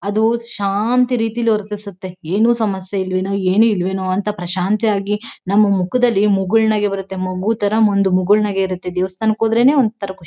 ಅದು ಶಾಂತ ರೀತಿಯಲ್ಲಿ ವರ್ತಿಸುತ್ತೆ ಏನು ಸಮಸ್ಯೆ ಇಲ್ವೇನೋ ಏನು ಇಲ್ವೇನೋಅಂತ ಪ್ರಶಾಂತಿಯಾಗಿ ನಮ್ ಮುಖದಲ್ಲಿ ಮುಗುಳ್ನಗೆ ಬರುತ್ತೆ ಮಗು ತರ ಒಂದು ಮುಗುಳ್ನಗೆ ಇರುತ್ತೆ ದೇವಸ್ಥಾನಕ್ಕೆ ಹೋದ್ರೇನೇ ಒಂದ್ ತರ ಖುಷಿ -